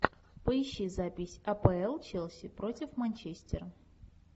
поищи запись апл челси против манчестера